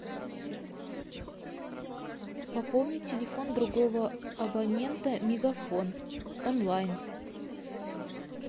пополнить телефон другого абонента мегафон онлайн